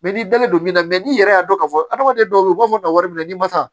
n'i dalen don min na n'i yɛrɛ y'a dɔn k'a fɔ adamaden dɔw bɛ yen u b'a fɔ ka wari minɛ n'i ma san